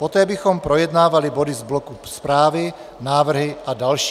Poté bychom projednávali body z bloku zprávy, návrhy a další.